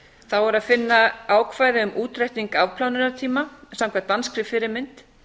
þá er að finna ákvæði um útreikning afplánunartíma samkvæmt danskri fyrirmynd